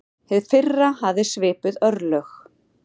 Hið fyrra hafði svipuð örlög.